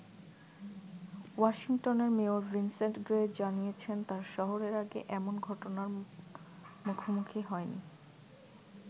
ওয়াশিংটনের mayor Vincent Gray জানিয়েছেন, তার শহর এর আগে এমন ঘটনার মুখোমুখি হয়নি।